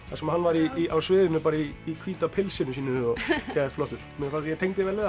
þar sem hann var á sviðinu í hvíta pilsinu sínu geðveikt flottur ég tengdi vel við